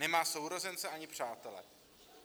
Nemá sourozence ani přátele.